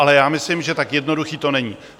Ale já myslím, že tak jednoduché to není.